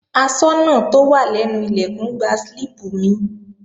Aṣọ́nà tó wà lẹ́nu Ilẹ̀kùn gba slíìpù mi